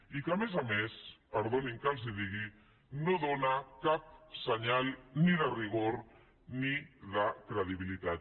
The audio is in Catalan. i que a més a més perdonin que els ho digui no dóna cap senyal ni de rigor ni de credibilitat